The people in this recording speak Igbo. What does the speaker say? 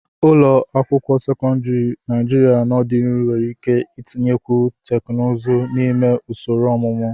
Ụlọ akwụkwọ sekọndrị Naijiria n'ọdịnihu nwere ike itinyekwu teknụzụ n'ime usoro ọmụmụ.